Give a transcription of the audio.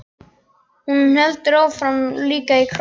Og hendur hans voru líka í kross.